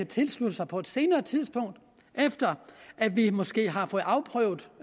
tilslutte sig på et senere tidspunkt efter at vi måske har fået afprøvet